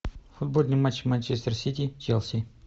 футбольный матч манчестер сити челси